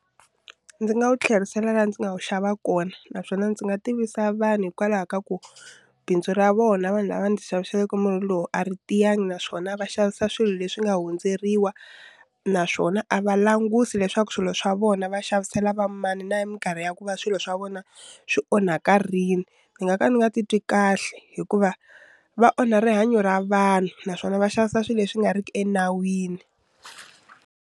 Ndzi nga wu tlherisela laha ndzi nga wu xava kona naswona ndzi nga tivisa vanhu hikwalaho ka ku bindzu ra vona vanhu lava ndzi xaviseleke munhu loyi a ri tiyanga naswona a va xavisa swilo leswi nga hundzeriwa naswona a va langusi leswaku swilo swa vona va xavisela va mani na hi minkarhi ya ku va swilo swa vona swi onhaka rini ndzi nga ka ndzi nga titwi kahle hikuva va onha rihanyo ra vanhu naswona va xavisa swilo leswi nga riki enawini.